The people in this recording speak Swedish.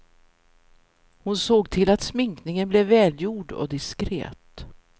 Hon såg till att sminkningen blev välgjord och diskret.